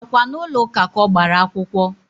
Á kwá n'ulo ụka ka ọ gbara akwụkwọ?